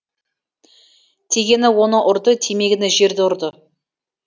тигені оны ұрды тимегені жерді ұрды